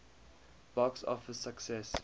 box office success